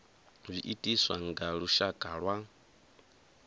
zwi itiswa nga lushaka lwa